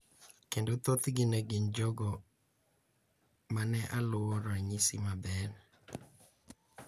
Kendo thothgi ne gin jogo ma ne aluwo ranyisi maber.